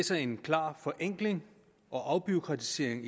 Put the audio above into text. ser en klar forenkling og afbureaukratisering